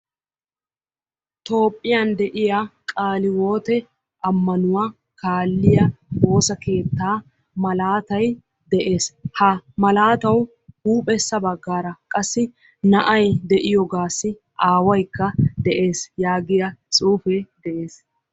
Toophiyan de'iya qaale hiwoote ammanuwa kaalliya woosa keettaa malaatay de'es. Ha malaatawu huuphessa baggaara qassi na'ayi de'iyogaassi aawaykka de'es yaagiya tsuufee de'es.